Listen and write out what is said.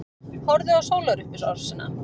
Horfðu á sólarupprásina.